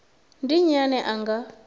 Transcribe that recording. ndi nnyi ane a nga